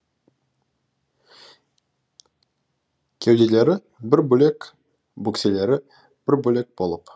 кеуделері бір бөлек бөкселері бір бөлек болып